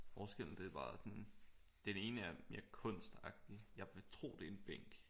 Forskellen det er bare den ene er mere kunst agtig jeg vil tro at det er en bænk